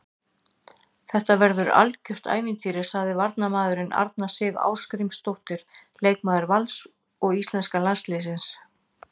Þetta verður algjört ævintýri, sagði varnarmaðurinn, Arna Sif Ásgrímsdóttir leikmaður Vals og íslenska landsliðsins.